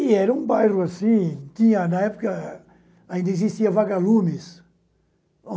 E era um bairro assim, na época ainda existiam vagalumes.